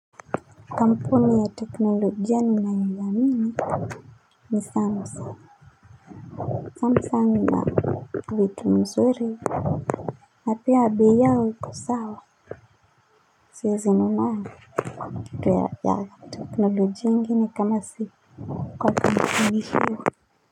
Kampuni ya teknolojia ninaweza amini ni samsung Samsung ina vitu mzuri pia bei yao iko sawa siwezi nunua kitu ya teknolojia ingini kama si kwa kampuni hiyo.